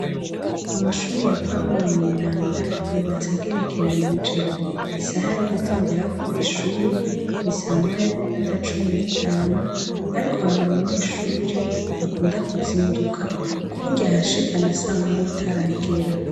Amashure ya pauro mweranda yubatse agerekeranije isaha yogutonderako kwishure ni samoya niminota cumi nitanu ariko hari umunyeshure akunda kuzinduka kuburyo ahashika na samoya itaragera